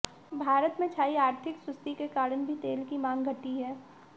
भारत में छाई आर्थिक सुस्ती के कारण भी तेल की मांग घटी है